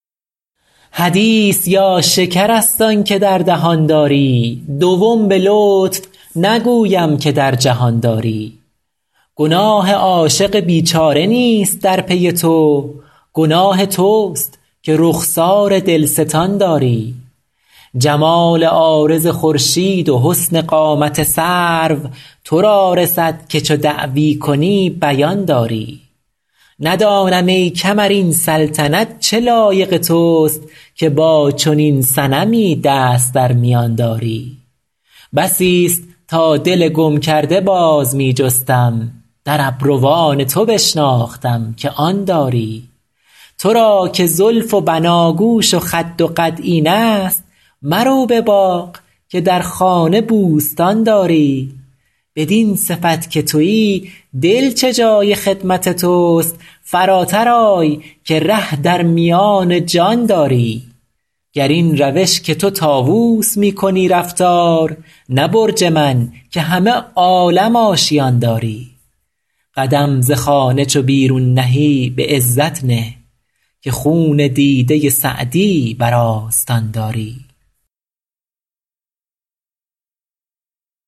حدیث یا شکر است آن که در دهان داری دوم به لطف نگویم که در جهان داری گناه عاشق بیچاره نیست در پی تو گناه توست که رخسار دلستان داری جمال عارض خورشید و حسن قامت سرو تو را رسد که چو دعوی کنی بیان داری ندانم ای کمر این سلطنت چه لایق توست که با چنین صنمی دست در میان داری بسیست تا دل گم کرده باز می جستم در ابروان تو بشناختم که آن داری تو را که زلف و بناگوش و خد و قد اینست مرو به باغ که در خانه بوستان داری بدین صفت که تویی دل چه جای خدمت توست فراتر آی که ره در میان جان داری گر این روش که تو طاووس می کنی رفتار نه برج من که همه عالم آشیان داری قدم ز خانه چو بیرون نهی به عزت نه که خون دیده سعدی بر آستان داری